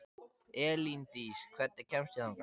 Elíndís, hvernig kemst ég þangað?